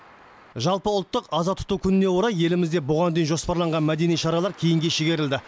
жалпыұлттық аза тұту күніне орай елімізде бұған дейін жоспарланған мәдени шаралар кейінге шегерілді